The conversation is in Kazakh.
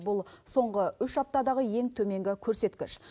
бұл соңғы үш аптадағы ең төменгі көрсеткіш